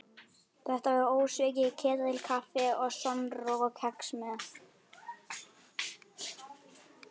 Þetta var ósvikið ketilkaffi og skonrok og kex með.